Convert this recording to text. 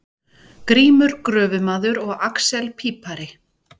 Grímur gröfumaður og axel pípari.